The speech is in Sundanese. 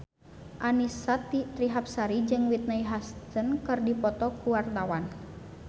Annisa Trihapsari jeung Whitney Houston keur dipoto ku wartawan